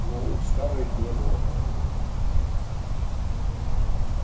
но у скарлетт не было аппетита